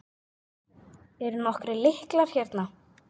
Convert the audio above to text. Eru nokkrir lyklar hérna?